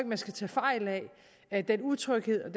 man skal tage fejl af den utryghed